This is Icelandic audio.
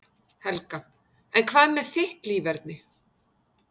Helga: En hvað með þitt líferni?